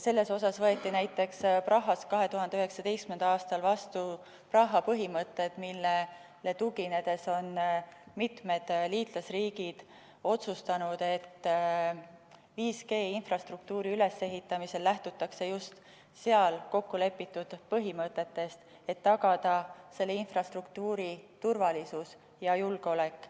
Näiteks võeti Prahas 2019. aastal vastu Praha põhimõtted, millele tuginedes on mitmed liitlasriigid otsustanud, et 5G‑infrastruktuuri ülesehitamisel lähtutakse just seal kokkulepitud põhimõtetest, et tagada selle infrastruktuuri turvalisus ja julgeolek.